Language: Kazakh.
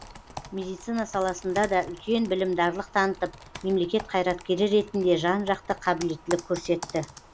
медицина саласында да үлкен білімдарлық танытып мемлекет қайраткері ретінде жан жақты қабілеттілік көрсетті